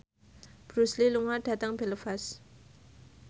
Bruce Lee lunga dhateng Belfast